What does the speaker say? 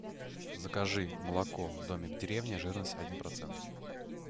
закажи молоко домик в деревне жирность один процент